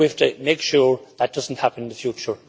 We have to make sure that does not happen in the future.